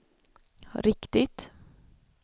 riktigt